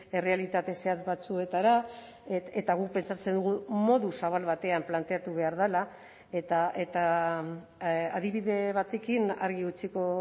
errealitate zehatz batzuetara eta guk pentsatzen dugu modu zabal batean planteatu behar dela eta adibide batekin argi utziko